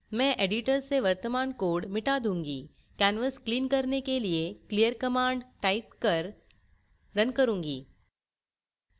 मैं editor से वर्तमान code मिटा दूँगी canvas clean करने के लिए clear command type कर run करुँगी